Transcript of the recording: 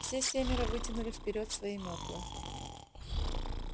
все семеро вытянули вперёд свои метлы